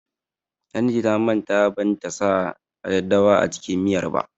Lanti ta manta ban ta sa daddawa a cikin miyar ba.